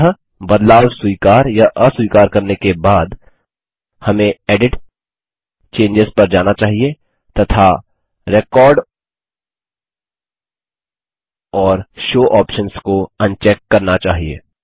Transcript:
अंततः बदलाव स्वीकार या अस्वीकार करने के बाद हमें एडिट जीटीजीटी चेंजों पर जाना चाहिए तथा रेकॉर्ड और शो ऑप्शन्स को अनचेक करना चाहिए